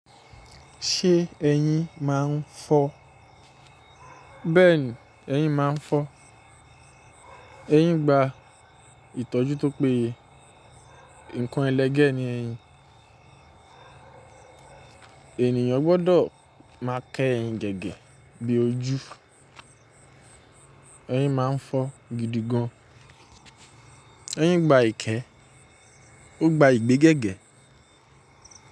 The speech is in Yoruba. Se eyin ma n fó. Bẹ́ẹ̀ni, eyín máa ń fọ́. Eyín gba ìtọ́jú tó péye. Ǹkan ẹlẹgẹ́ ni eyín. Ènìyàn gbọ́dọ̀ máa kẹ́ eyín gẹ́gẹ́ bi ojú. Eyín máa ń fọ́ gidigan. Eyín gba ìkẹ́, ó gba ìgbẹ́ gẹ́gẹ́